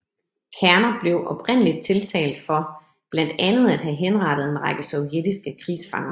Kerner blev oprindeligt tiltalt for blandt andet at have henrettet en række sovjetiske krigsfanger